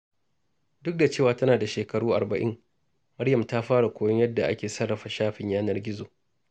Duk da cewa tana da shekaru arba’in, Maryam ta fara koyon yadda ake sarrafa shafin yanar gizo.